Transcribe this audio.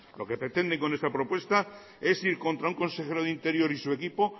lo que pretenden con esta propuesta es ir contra un consejero de interior y su equipo